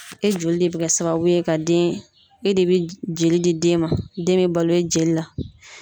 E joli de bɛ kɛ sababu ye ka den e de bɛ joli di den ma, den bɛ balo jeli la.